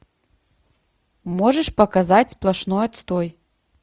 можешь показать сплошной отстой